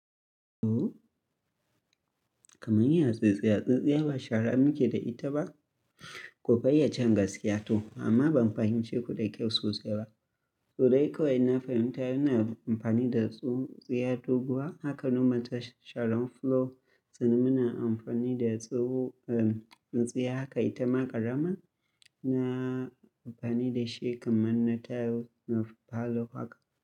To, kamar ya tsintsiya, tsintsiya ba shara muke da ita ba ku fayyacen gaskiya to amma ban fahimce ku da kyau sosai ba. To dai kawai na fahimta yana amfani da tsuntsiya doguwa haka nomal ta sharen floor sannan muna amfani da tso uh, tsintsiya haka ita ma ƙarama na amfani da shi kamar na taro na falo haka.